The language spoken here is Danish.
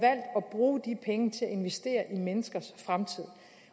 penge til at investere i menneskers fremtid